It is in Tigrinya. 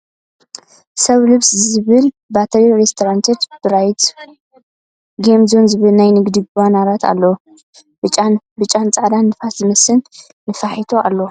ስው ልሰው ዝብል ባትና ሬስቶታንት ን ብራይት ጌም ዞን ዝብል ናይ ንግዲ ባነራት ኣለዉ ። ብጫን ፃዕዳን ንፋስ ዝመለአ ንፋሒቶ ኣለዉ ።